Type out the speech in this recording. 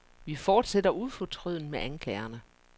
Vi fortsætter ufortrødent med anklagerne.